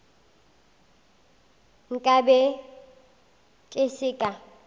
nka be ke se ka